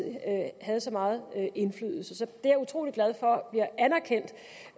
havde så meget indflydelse så det jeg utrolig glad for bliver anerkendt